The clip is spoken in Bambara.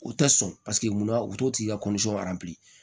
U tɛ sɔn paseke munna u t'o tigi ka